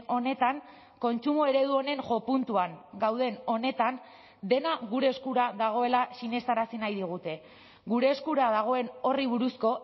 honetan kontsumo eredu honen jo puntuan gauden honetan dena gure eskura dagoela sinestarazi nahi digute gure eskura dagoen horri buruzko